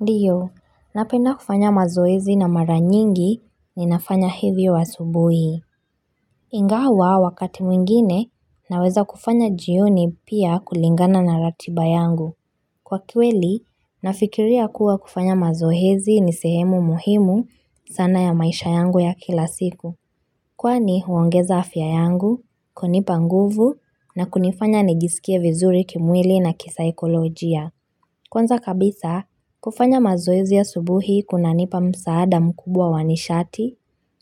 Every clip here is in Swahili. Ndiyo, napenda kufanya mazoezi na mara nyingi ni nafanya hivi asubuhi. Ingawa wakati mwingine naweza kufanya jioni pia kulingana na ratiba yangu. Kwa kiweli, nafikiria kuwa kufanya mazoezi ni sehemu muhimu sana ya maisha yangu ya kila siku. Kwani huongeza afya yangu, kunipa nguvu na kunifanya nijiskie vizuri kimwili na kisaikolojia. Kwanza kabisa, kufanya mazoezi a subuhi kuna nipa msaada mkubwa wanishati,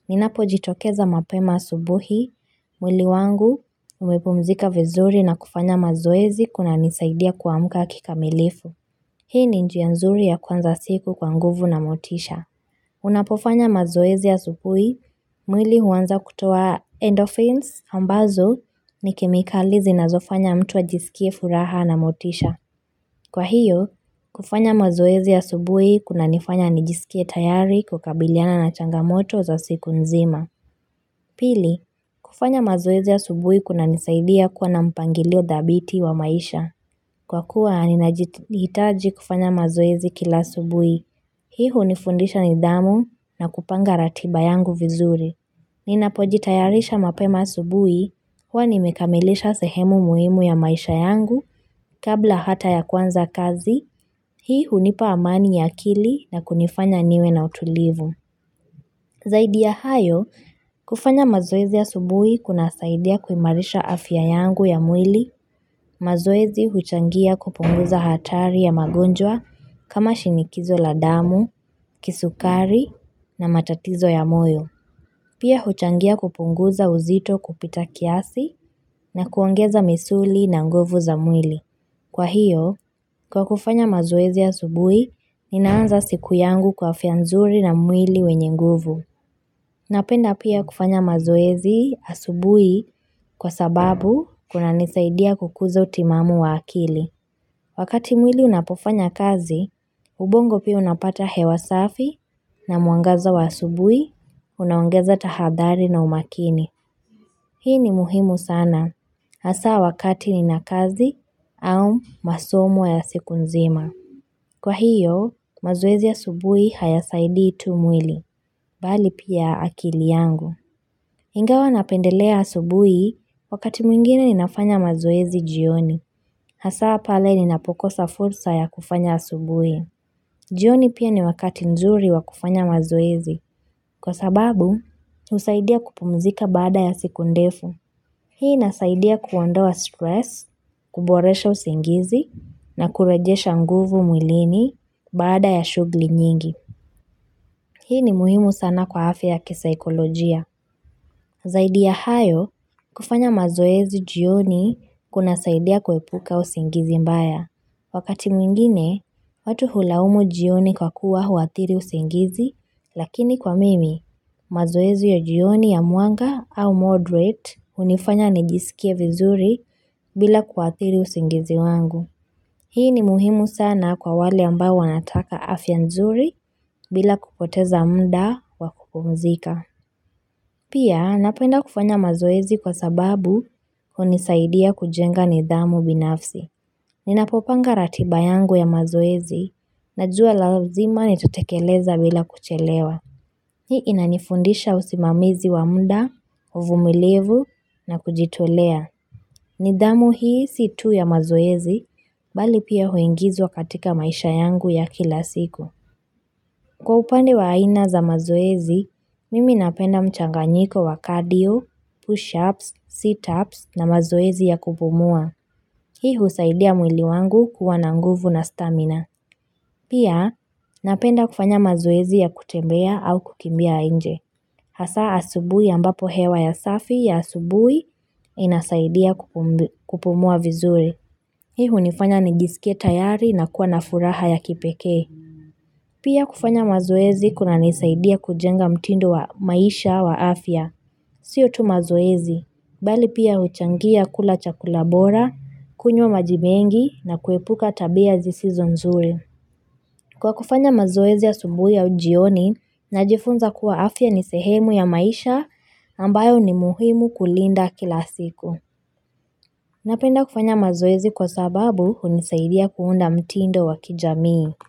ninapo jitokeza mapema asubuhi, mwili wangu, umepumzika vizuri na kufanya mazoezi kuna nisaidia kua mka kikamilifu. Hii ni njia nzuri ya kuanza siku kwa nguvu na motisha. Unapofanya mazoezi a subuhi, mwili huanza kutoa endorphins ambazo ni kemikali zi na zofanya mtu a jiskie furaha na motisha. Kwa hiyo, kufanya mazoezi a subuhi kuna nifanya nijisikie tayari kukabiliana na changamoto za siku nzima. Pili, kufanya mazoezi a subuhi kuna nisaidia kuwa na mpangilio dhabiti wa maisha. Kwa kuwa, ninajihitaji kufanya mazoezi kila asubuhi. Hii u nifundisha nidhamu na kupanga ratiba yangu vizuri. Nina pojitayarisha mapema asubui, huwani mekamilisha sehemu muhimu ya maisha yangu kabla hata ya kuanza kazi, hii hunipa amani ya akili na kunifanya niwe na utulivu. Zaidi ya hayo, kufanya mazoezi a subui kuna saidia kuimarisha afya yangu ya mwili, mazoezi huchangia kupunguza hatari ya magonjwa kama shinikizo la damu, kisukari na matatizo ya moyo. Pia huchangia kupunguza uzito kupita kiasi na kuongeza misuli na nguvu za mwili. Kwa hiyo, kwa kufanya mazoezi asubui, ninaanza siku yangu kwa afya nzuri na mwili wenye nguvu. Napenda pia kufanya mazoezi asubui kwa sababu kuna nisaidia kukuza utimamu wa akili. Wakati mwili unapofanya kazi, ubongo pia unapata hewasafi na mwangaza wa asubui, unaongeza tahadhali na umakini. Hii ni muhimu sana, hasa wakati ni na kazi au masomo ya siku nzima. Kwa hiyo, mazoezi asubui haya saidii tu mwili, bali pia akili yangu. Ingawa napendelea asubui, wakati mwingine ninafanya mazoezi jioni. Hasaa pale ninapokosa fursa ya kufanya asubui. Jioni pia ni wakati nzuri wa kufanya mazoezi. Kwa sababu, usaidia kupumzika baada ya siku ndefu. Hii inasaidia kuondoa stress, kuboresha usingizi, na kurejesha nguvu mwilini baada ya shugli nyingi. Hii ni muhimu sana kwa afya ya kisaikolojia. Zaidi ya hayo, kufanya mazoezi jioni kuna saidia kuepuka usingizi mbaya. Wakati mwingine, watu hulaumu jioni kwa kuwa huathiri usingizi, lakini kwa mimi, mazoezi ya jioni ya mwanga au moderate unifanya nijisikie vizuri bila kuathiri usingizi wangu. Hii ni muhimu sana kwa wale ambao wanataka afyanzuri bila kupoteza mda wa kupumzika. Pia napenda kufanya mazoezi kwa sababu unisaidia kujenga nidhamu binafsi. Ninapopanga ratiba yangu ya mazoezi na jua lazima ni tatekeleza bila kuchelewa. Hii inanifundisha usimamizi wamda, uvumilivu na kujitolea. Nidhamu hii situ ya mazoezi bali pia huingizwa katika maisha yangu ya kila siku. Kwa upande wa aina za mazoezi, mimi napenda mchanganyiko wa cardio, push-ups, sit-ups na mazoezi ya kupumua. Hii husaidia mwili wangu kuwa nanguvu na stamina. Pia napenda kufanya mazoezi ya kutembea au kukimbia inje. Hasa asubui ambapo hewa ya safi ya asubui inasaidia kupumua vizuri. Hii hunifanya nijiskie tayari na kuwa na furaha ya kipekee. Pia kufanya mazoezi kuna nisaidia kujenga mtindo wa maisha wa afya. Siyo tu mazoezi, bali pia uchangia kula chakulabora, kunywa maji mengi na kuepuka tabia zisizo nzuri. Kwa kufanya mazoezi asubui au jioni, najifunza kuwa afya ni sehemu ya maisha ambayo ni muhimu kulinda kila siku. Napenda kufanya mazoezi kwa sababu unisaidia kuunda mtindo wa kijamii.